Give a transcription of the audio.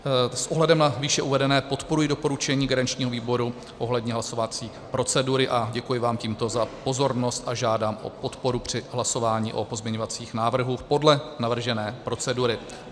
S ohledem na výše uvedené podporuji doporučení garančního výboru ohledně hlasovací procedury a děkuji vám tímto za pozornost a žádám o podporu při hlasování o pozměňovacích návrzích podle navržené procedury.